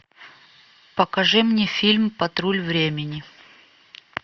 покажи мне фильм патруль времени